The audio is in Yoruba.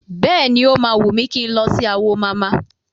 Bẹ́ẹ̀ni, o máa wùn mí kí n lọ sí Awo mama.